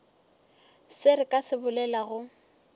se re ka se bolelago